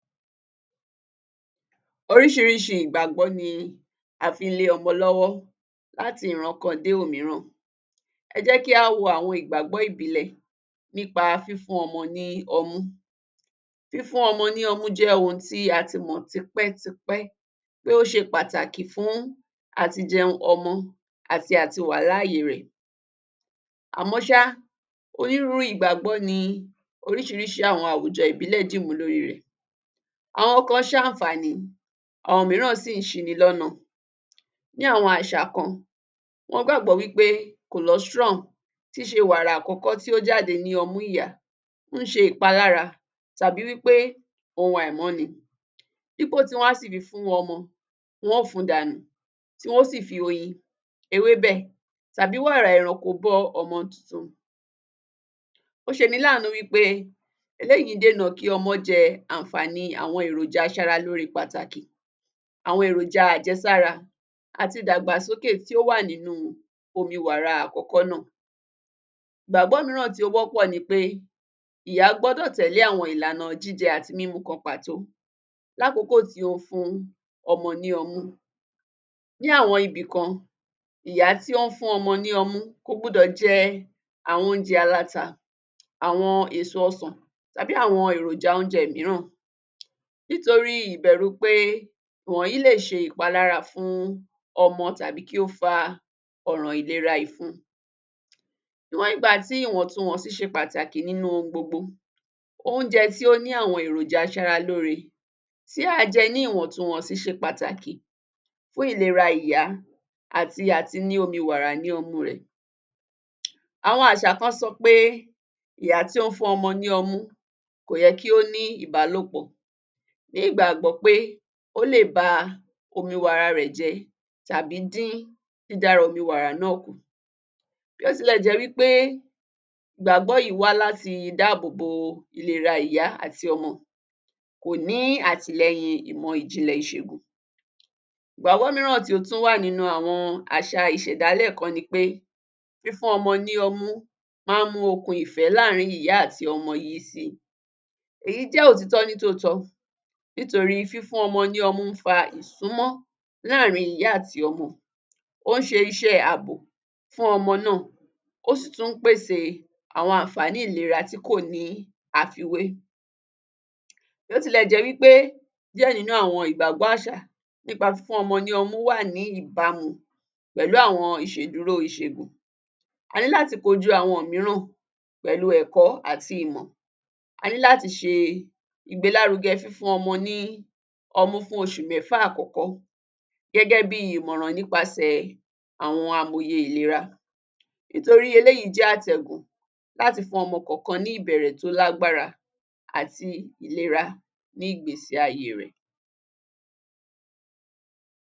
Orísìírísì ìgbàgbọ́ ni a fi ń lé ọmọ lọ́wọ́ láti ìràn kan dé òmíìrán. Ẹ jẹ́ kí a wo àwọn ìgbàgbọ́ ìbílẹ̀ nípa fífún ọmọ ní ọ̀mú. Fífún ọmọ ní ọ̀mú jẹ́ ohun tí a ti mọ́ tipẹ́tipẹ́ pé ó ṣe pàtàkì fún àtìjẹun ọmọ àti àtì wà láàyè rẹ̀. Àmọ́ṣá, onírúurú ìgbàgbọ́ ni orísìírísì̀ àwọn àwùjọ̀ ìbílẹ̀ dímú lórí rẹ̀. Àwọn kan ṣe ànfàní àwọn òmíìrán sì ń sí ní lọ́ọ̀nà. Ní àwọn àṣà kan, wọ́n gbàgbọ́ wípé Colostrum tí ń ṣe wàrà àkọ́kọ́ tí ó jáde ní ọmú ìyá ń ṣe ìpalára tàbí wípé òun àìmọ́ ni. Dípò tí wọ́n á sì fi fún ọmọ, wọ́n ò ń fùn dànù, tí wọ́n ò sì fi oyín ewébẹ̀ tàbí wàrà ẹranko bọ ọmọ tuntun. Ó ṣe ní laàánú wípé eléyìí ń dènà kí ọmọ jẹ ànfàní àwọn eròjà àsárá lórè pàtàkì. Àwọn eròjà àjẹsára àti dàgbà sókè tí ó wà nínú omi wàrà àkọ́kọ́ náà. Ìgbàgbọ́ mìíràn tí ó wọ́pọ̀ ni pé ìyá gbọ́dọ̀ tẹ̀lé àwọn ìlànà jíjẹ àti mímú kan pàtó lákòókò tí ó ń fún ọmọ ní ọ̀mú. Ní àwọn ibi kan, ìyá tí ó ń fún ọmọ ní ọ̀mú kò gbọ́dọ̀ jẹ́ àwọn oúnjẹ aláta, àwọn èṣọ̀ ọ̀sán tàbí àwọn eròjà oúnjẹ mìíràn nítorí ìbẹ̀rù pé ìwọ̀nyí lè ṣe ìpalára fún ọmọ tàbí kí ó fà ọ̀ràn ìlera ìfún. Níwọn ìgbàtí ìwọ̀ntúnwọ̀nsì ń ṣe pàtàkì nínú gbogbo oúnjẹ tí ó ní àwọn eròjà àsárá lórè, tí a jẹ ní ìwọ̀ntúnwọ̀nsì ṣe pàtàkì fún ìlera ìyá àti àtì nínú omi wàrà ní ọ̀mú rẹ̀. Àwọn àṣà kan sọ pé ìyá tí ó ń fún ọmọ ní ọ̀mú kò yẹ kí ó ní ìbalòpọ̀ ní ìgbàgbọ́ pé ó lè bà omi wàrà rẹ̀ jẹ tàbí dín dì dára omi wàrà náà kú. Bí ó tilẹ̀ jẹ́ pé ìgbàgbọ́ yìí wà láti dáàbòbọ̀ ìlera ìyá àti ọmọ kò ní àtì lẹ́yìn ìmọ̀ ìjìnlẹ̀ ìṣẹ̀gùn. Ìgbàgbọ́ mìíràn tí ó tún wà nínú àwọn àṣà ìṣẹ̀dálẹ̀ kan ni pé fífún ọmọ ní ọ̀mú máa mú òkùn ìfẹ́ láàárín ìyá àti ọmọ yìí sí. Èyí jẹ́ òtítọ́ ní tó tọ́, nítorí fífún ọmọ ní ọ̀mú fà ìsúmọ̀ láàárín ìyá àti ọmọ. Ó ń ṣe iṣẹ́ ààbò fún ọmọ náà. Ó sì tún pèsè àwọn ànfàní ìlera tí kò ní àfíwẹ́. Bí ó ti lẹ̀ jẹ́ wípé díẹ̀ nínú àwọn ìgbàgbọ́ àṣà nípa fífún ọmọ ní ọ̀mú wà ní ìbámu pẹ̀lú àwọn ìṣedúró ìṣẹ̀gùn, a ní láti koju àwọn òmíìrán pẹ̀lú ẹ̀kọ́ àti ìmọ̀. A ní láti ṣe ìgbélárugẹ́ fífún ọmọ ní ọ̀mú fún oṣù mẹ́fà àkọ́kọ́ gẹ́gẹ́ bí ìmòràn nípasẹ̀ àwọn amòyè ìlera. Nítorí eléyìí jẹ́ àtẹ́gùn láti fún ọmọ kọ̀ọ̀kan ní ìbẹ̀rẹ̀ tó lágbára àti ìlera ní ìgbésí ayé rẹ̀.